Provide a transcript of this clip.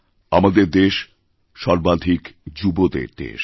আমাদের দেশ সর্বাধিক যুবদের দেশ